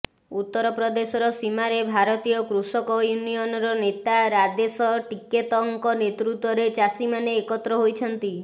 ଉତ୍ତରପ୍ରଦେଶର ସୀମାରେ ଭାରତୀୟ କୃଷକ ୟୁନିଅନର ନେତା ରାଦେଶ ଟିକେତଙ୍କ ନେତୃତ୍ୱରେ ଚାଷୀମାନେ ଏକତ୍ର ହୋଇଛନ୍ତି